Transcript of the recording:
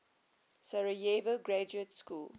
sarajevo graduate school